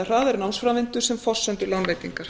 hraðari námsframvindu sem forsendu lánveitingar